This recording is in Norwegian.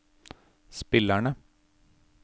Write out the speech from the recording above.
spillerne